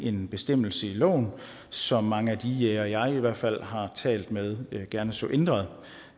en bestemmelse i loven som mange af de jægere jeg i hvert fald har talt med gerne så ændret